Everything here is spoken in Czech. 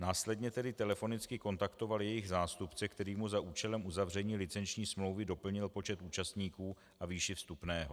Následně tedy telefonicky kontaktoval jejich zástupce, který mu za účelem uzavření licenční smlouvy doplnil počet účastníků a výši vstupného.